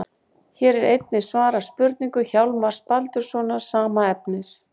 Hér er einnig svarað spurningu Hjálmars Baldurssonar, sama efnis.